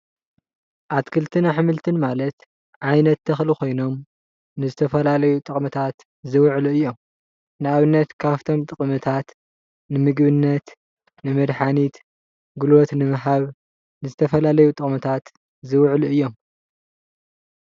ኣትክልትን ኣሕምልትን ማለት ዓይነት ተክሊ ኮይኖም ንዝተፈላለዩ ጥቅምታት ዝውዕሉ እዮም ንኣብነት ካብቶም ጥቅምታት ንምግብነት፣ ንመድሓኒት፣ ጉልበት ንምሃብ ንዝተፈላለዩ ጥቅምታት ዝውዕሉ እዮም።